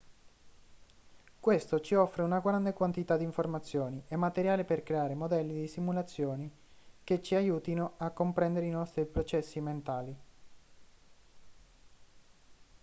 questo ci offre una grande quantità di informazioni e materiale per creare modelli di simulazione che ci aiutino a comprendere i nostri processi mentali